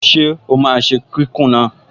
Ṣé ó máa ṣe kíkùn náà?